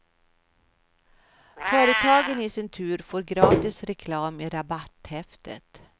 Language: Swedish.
Företagen i sin tur får gratis reklam i rabatthäftet.